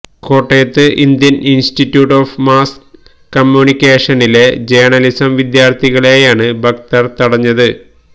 കോട്ടയത്ത് Indian institute of mass കമ്മ്യൂണിക്കേഷനിലെ journalism വിദ്യാർത്ഥികളെയാണ് ഭക്തർ തടഞ്ഞത്